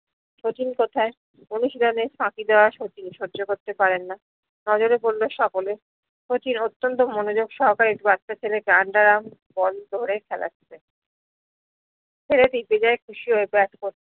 শচীন কোথায় অনুশীলনে ফাকি দেওয়া শচীন সহ্য করতে পারেন নজরে পললো সকলে শচীন অত্যন্ত মনোযোগ সহকারে বাচ্চা ছেলে গান্ডা রাম বল ধরে খেলাছে ছেলে টি বেঝাই খুসি হয়ে বেট